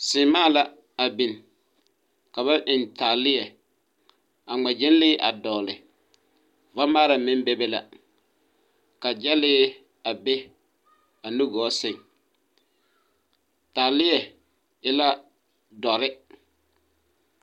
Seemaa la a biŋ ka ba eŋ taaleԑ a ŋma gyԑnlee a dͻgele, vamaara meŋ bebe la ka gyԑlee a be a nugͻͻ sԑŋ. Taaleԑ e la dͻre.